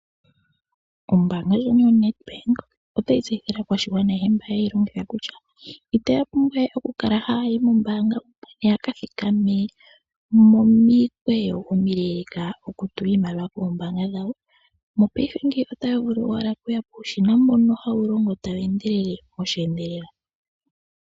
Oombanga yoNEDBANK otayi tseyithile aakwashigwana ayehe mba haye yilongitha kutya itaya pumbwa we oku kala ha ya yi mombaanga yaka thikame momikweyo omileleka oku tula iimaliwa kombaanga dhawo . Mopaife ngeyi ota vulu owala okuya puushina mbono hawu longo tawu endelele osheendelela.